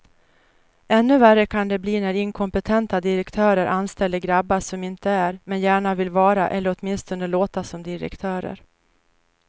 Ännu värre kan det bli när inkompetenta direktörer anställer grabbar som inte är, men gärna vill vara eller åtminstone låta som direktörer.